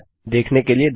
देखने के लिए धन्यवाद